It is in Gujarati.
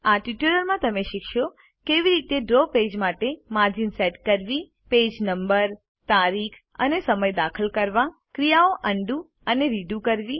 આ ટ્યુટોરીયલમાં તમે શીખશો કેવી રીતે ડ્રો પેજ માટે માર્જિન સેટ કરો પેજ નંબર તારીખ અને સમય દાખલ કરો ક્રિયાઓ અન્ડું અને રીડુ કરો